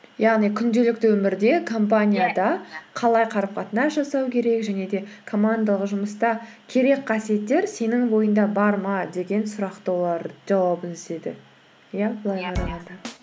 яғни күнделікті өмірде қалай қарым қатынас жасау керек және де командалық жұмыста керек қасиеттер сенің бойында бар ма деген сұрақты олар жауабын іздеді иә